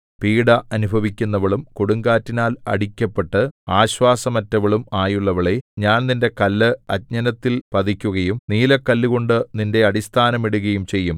പീഢ അനുഭവിക്കുന്നവളും കൊടുങ്കാറ്റിനാൽ അടിക്കപ്പെട്ട് ആശ്വാസമറ്റവളും ആയുള്ളവളേ ഞാൻ നിന്റെ കല്ല് അഞ്ജനത്തിൽ പതിക്കുകയും നീലക്കല്ലുകൊണ്ടു നിന്റെ അടിസ്ഥാനം ഇടുകയും ചെയ്യും